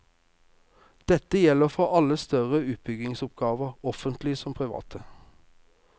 Dette gjelder for alle større utbyggingsoppgaver, offentlige som private.